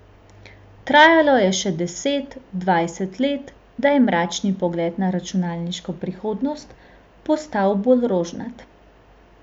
Trajalo je še deset, dvajset let, da je mračni pogled na računalniško prihodnost postal bolj rožnat.